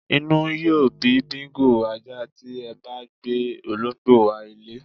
Inú yóó bí Bingo (ajá) tí e̩ bá gbé olóǹgbò wá ilé